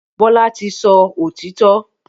Bola tí sọ òtító.